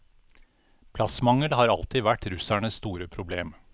Plassmangel har aldri vært russernes store problem.